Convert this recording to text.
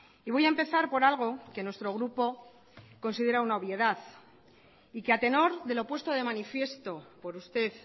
y voy a empezar por algo que nuestro grupo considera una obviedad y que a tenor de lo puesto de manifiesto por usted